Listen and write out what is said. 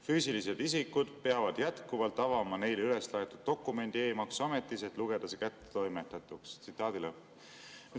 Füüsilised isikud peavad jätkuvalt avama neile üles laetud dokumendi e-maksuametis, et lugeda see kättetoimetatuks.